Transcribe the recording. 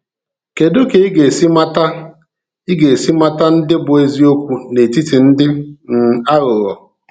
Kedu ka i ga-esi mata i ga-esi mata ndị bụ eziokwu n’etiti ndị um aghụghọ?